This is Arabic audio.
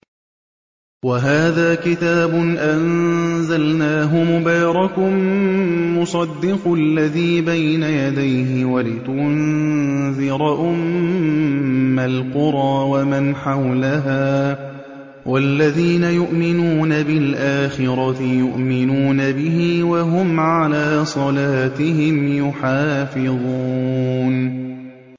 وَهَٰذَا كِتَابٌ أَنزَلْنَاهُ مُبَارَكٌ مُّصَدِّقُ الَّذِي بَيْنَ يَدَيْهِ وَلِتُنذِرَ أُمَّ الْقُرَىٰ وَمَنْ حَوْلَهَا ۚ وَالَّذِينَ يُؤْمِنُونَ بِالْآخِرَةِ يُؤْمِنُونَ بِهِ ۖ وَهُمْ عَلَىٰ صَلَاتِهِمْ يُحَافِظُونَ